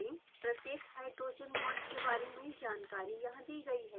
प्रत्येक hydrogen bond के बारे में जानकारी यहाँ दी गयी है